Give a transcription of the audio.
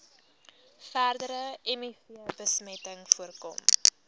verdere mivbesmetting voorkom